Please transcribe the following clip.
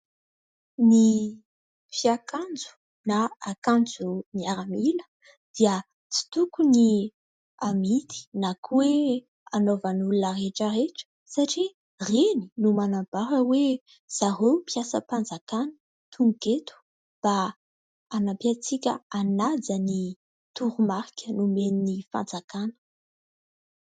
Ny fiakanjo ny akanjo miaramila dia tsy tokony amidy na koa hoe anaovan'ny olona rehetra rehetra satria ireny no manambara hoe zareo mpiasam-panjakana tonga eto mba anampy antsika hanaja ny toromarika nomen'ny fanjakana.